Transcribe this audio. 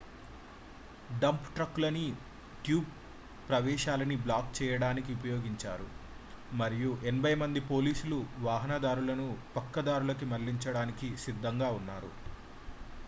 dump ట్రక్కులని tube ప్రవేశాలని block చేయడానికి ఉపయోగించారు మరియు 80 మంది పోలీసుల వాహనదారులను పక్కదారులకి మళ్లించడానికి సిద్ధంగా ఉన్నారు